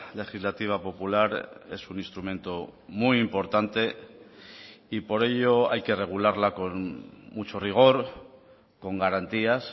legislativa popular es un instrumento muy importante y por ello hay que regularla con mucho rigor con garantías